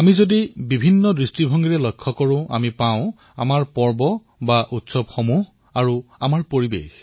আমি যদি গুৰুত্ব সহকাৰে লক্ষ্য কৰো তেন্তে এটা কথা নিশ্চয় আমাৰ চকুত পৰিব সেয়া হল আমাৰ উৎসৱ আৰু পৰিবেশ